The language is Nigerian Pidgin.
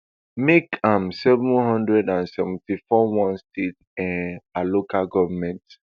make am seven hundred and seventy-four one state um per local goment